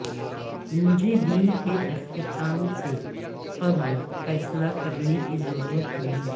مجھے دن کے اختتام سے قبل فیصلہ کرنے کی ضرورت ہوگی